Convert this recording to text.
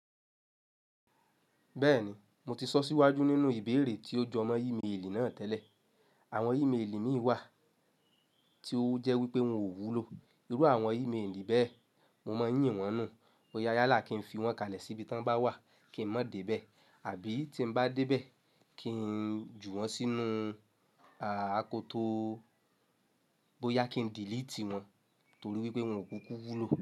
Bẹ́ẹ̀ni, mo ti sọ síwájú nínú ìbéèrè tí ó jọ mọ́ e-mail náà tẹ́lẹ̀. Àwọn e-mail mí wà tí ó jẹ́ wípé wọn ò wúlò. Irú àwọn e-mail bẹ̀, mo máa ń yìn wọ́n nù. Boyá yálà kí n fi wọn kalẹ̀ síbi tí wọ́n bá wà kí n má dé bẹ́ẹ̀, àbí tí n bá dé bẹ́ẹ̀ kí n jù wọ́n sínú akoto bóyá kí n delete wọn torí wípé wọn ò kúkú wúlò.